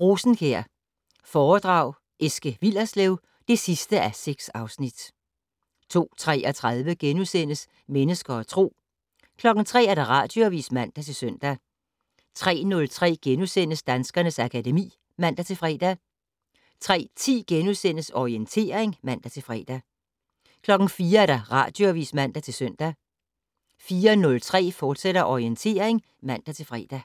Rosenkjær foredrag Eske Willerslev (6:6)* 02:33: Mennesker og Tro * 03:00: Radioavis (man-søn) 03:03: Danskernes akademi *(man-fre) 03:10: Orientering *(man-fre) 04:00: Radioavis (man-søn) 04:03: Orientering, fortsat (man-fre)